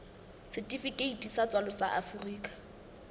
setifikeiti sa tswalo sa afrika